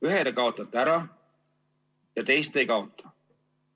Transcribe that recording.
Ühe te kaotate ära ja teist ei kaota.